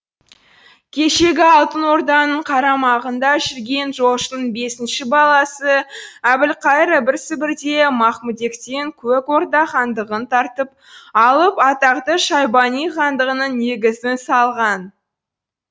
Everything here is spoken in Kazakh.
кешегі алтын орданың қарамағында жүрген жошының бесінші баласы әбілқайыр ібір сібірде махмүдектен көк орда хандығын тартып алып атақты шайбани хандығының негізін салған